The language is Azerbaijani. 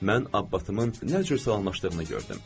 Mən Abbatımın nə cür salamlaşdığını gördüm.